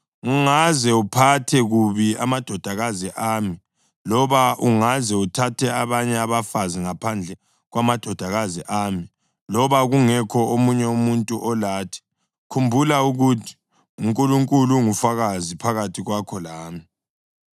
Ungaze uphathe kubi amadodakazi ami, loba ungaze uthathe abanye abafazi ngaphandle kwamadodakazi ami, loba kungekho omunye umuntu olathi, khumbula ukuthi uNkulunkulu ungufakazi phakathi kwakho lami.”